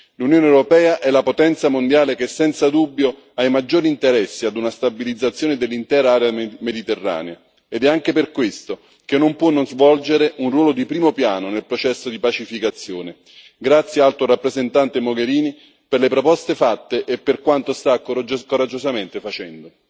L'Unione europea è la potenza mondiale che senza dubbio ha i maggiori interessi a una stabilizzazione dell'intera area mediterranea ed è anche per questo che non può non svolgere un ruolo di primo piano nel processo di pacificazione. Grazie, Alto rappresentante Mogherini per le proposte fatte e per quanto sta coraggiosamente facendo.